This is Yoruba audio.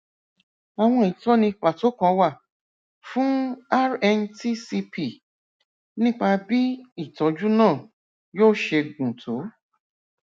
àwọn ìtọni pàtó kan wà fún rntcp nípa bí ìtọjú náà yóò ṣe gùn tó